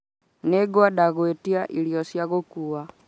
Nĩngwenda gwetia irio cia gũkuua